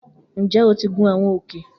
Njẹ o ti gun awọn òkè